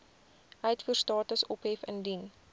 uitvoerstatus ophef indien